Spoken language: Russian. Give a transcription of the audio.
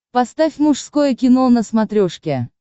поставь мужское кино на смотрешке